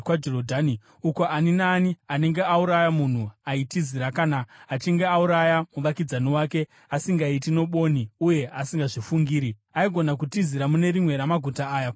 uko ani naani anenge auraya munhu aitizira kana achinge auraya muvakidzani wake asingaiti nobwoni uye asingazvifungiri. Aigona kutizira mune rimwe ramaguta aya kuti ararame.